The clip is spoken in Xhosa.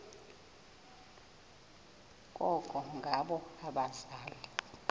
koko ngabo abaza